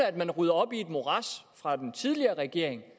at man rydder op i et morads fra den tidligere regering